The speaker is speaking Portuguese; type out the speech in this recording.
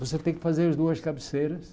Você tem que fazer as duas cabeceiras.